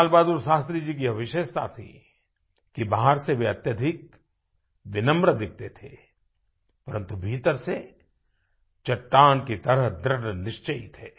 लाल बहादुर शास्त्री जी की ये विशेषता थी कि बाहर से वे अत्यधिक विनम्र दिखते थे परन्तु भीतर से चट्टान की तरह दृढ़ निश्चयी थे